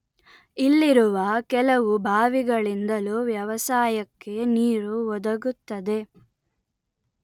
ಇಲ್ಲಿರುವ ಕೆಲವು ಭಾವಿಗಳಿಂದಲೂ ವ್ಯವಸಾಯಕ್ಕೆ ನೀರು ಒದಗುತ್ತದೆ